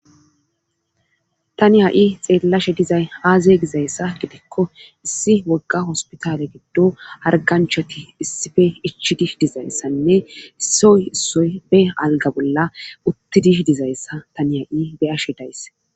Tani ha7i xeellashe dizay aaze gizayssa gidikko issi wogga hospitale giddo harganchoti issife ichi dih dizayssanne issioy issoy be alga bolla uttidih dizayssa tani ha7i beyashe daysse.